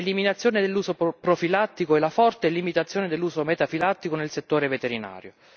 l'eliminazione dell'uso profilattico e la forte limitazione dell'uso metafilattico nel settore veterinario.